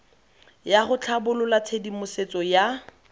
ya go tlhabolola tshedimosetso ya